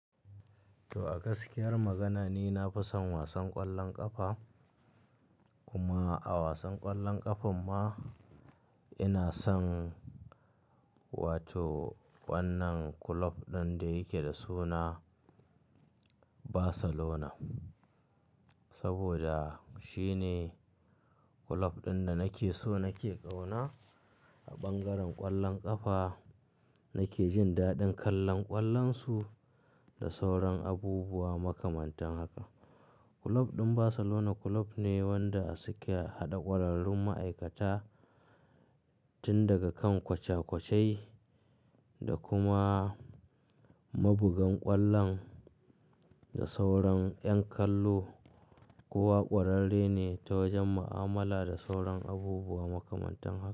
To a gaskiyar magana, ni na fi son wasan ƙwallon ƙafa. Kuma a wasan ƙwallon ƙafan ma ina son wato wannan kulob ɗin da yake da suna Barcelona. Saboda shine kulob ɗin da nake so nake ƙauna a ɓangaren ƙwallon ƙafa, nake jin daɗin kallon ƙwallon su da sauran abubuwa makamantan haka. Kulob ɗin Barcelona kulob ne wanda su ke haɗa ƙwararrun ma'aikata tun daga kan koca-kocai da kuma mabugan ƙwallon da sauran 'yan kallo. Ko wa ƙwararre ne ta wajen mu'amala da sauran abubuwa makamantan haka.